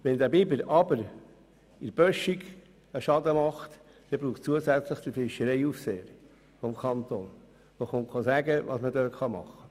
Wenn er jedoch an einer Böschung einen Schaden verursacht, braucht es zusätzlich den Fischereiaufseher des Kantons, der sagt, was man tun kann.